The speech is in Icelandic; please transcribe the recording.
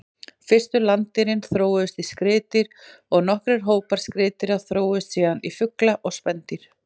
Fyrstu landdýrin þróuðust í skriðdýr og nokkrir hópar skriðdýra þróuðust síðan í fugla og spendýr.